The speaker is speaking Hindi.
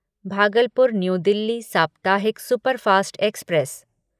भागलपुर न्यू दिल्ली साप्ताहिक सुपरफ़ास्ट एक्सप्रेस